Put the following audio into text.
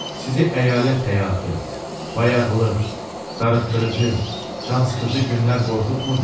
Sizi əyalət həyatı, bayağılıq, darıxdırıcı, cansıxıcı günlər qorxutmurmu?